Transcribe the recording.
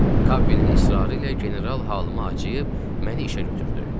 Kappinin israrı ilə general halıma acıyıb məni işə götürdü.